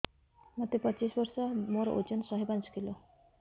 ମୋତେ ପଚିଶି ବର୍ଷ ମୋର ଓଜନ ଶହେ ପାଞ୍ଚ କିଲୋ